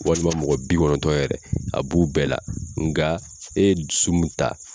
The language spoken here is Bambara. Walima mɔgɔ bi kɔnɔntɔn yɛrɛ a b'u bɛɛ la nga e ye dusu min ta.